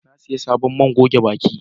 Na siyo sabon man goge baki